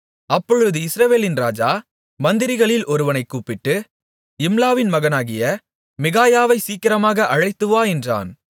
அப்பொழுது இஸ்ரவேலின் ராஜா மந்திரிகளில் ஒருவனைக் கூப்பிட்டு இம்லாவின் மகனாகிய மிகாயாவைச் சீக்கிரமாக அழைத்துவா என்றான்